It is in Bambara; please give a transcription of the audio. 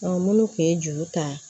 minnu tun ye juru ta